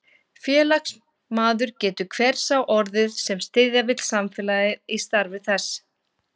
Félagsmaður getur hver sá orðið, sem styðja vill félagið í starfi þess.